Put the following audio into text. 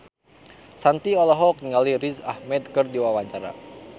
Shanti olohok ningali Riz Ahmed keur diwawancara